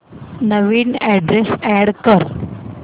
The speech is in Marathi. नवीन अॅड्रेस अॅड कर